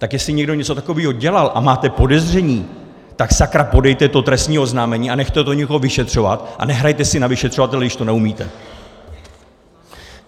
Tak jestli někdo něco takového dělal a máte podezření, tak sakra podejte to trestní oznámení a nechte to někoho vyšetřovat a nehrajte si na vyšetřovatele, když to neumíte!